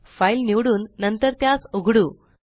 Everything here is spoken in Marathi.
फाइल निवडून नंतर त्यास उघडु